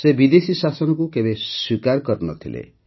ସେ ବିଦେଶୀ ଶାସନକୁ କେବେ ସ୍ୱୀକାର କରିନଥିଲେ